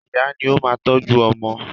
Ìyá ní ó máa ń tọ́jú ọmọ.